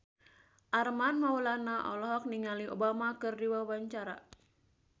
Armand Maulana olohok ningali Obama keur diwawancara